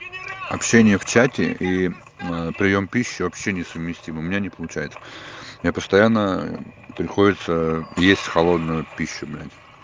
общение в чате и приём пищи вообще несовместимые у меня не получается я постоянно приходится есть холодную пищу блять